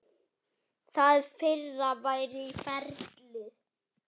Það fyrra væri í ferli.